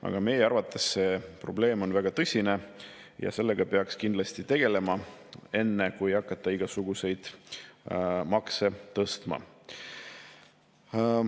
Aga meie arvates see probleem on väga tõsine ja sellega peaks kindlasti tegelema enne, kui hakata igasuguseid makse tõstma.